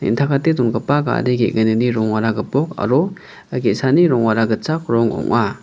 dongipa gari ge·gnini rongara gipok aro ge·sani rongara gitchak rong ong·a.